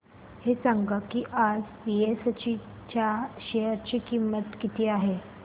हे सांगा की आज बीएसई च्या शेअर ची किंमत किती आहे